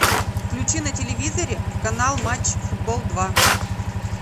включи на телевизоре канал матч футбол два